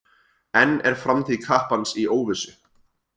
Enn er framtíð kappans í óvissu.